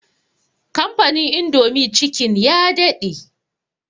Kamfanin indomie chicken ya daɗe